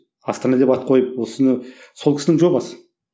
астана деп ат қойып осыны сол кісінің жобасы